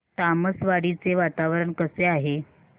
तामसवाडी चे वातावरण कसे आहे